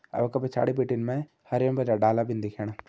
अर उंका पिछाड़ी बिटिन मैं हरयूं डाला भी दिखेणा।